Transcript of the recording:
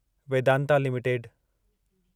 Vedanta limited